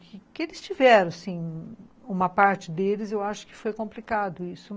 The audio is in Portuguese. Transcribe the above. Que eles tiveram sim, uma parte deles, eu acho que foi complicado isso.